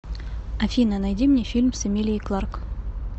афина найди мне фильм с эмилией кларк